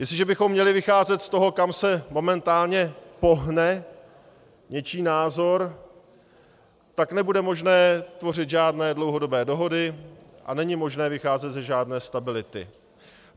Jestliže bychom měli vycházet z toho, kam se momentálně pohne něčí názor, tak nebude možné tvořit žádné dlouhodobé dohody a není možné vycházet ze žádné stability.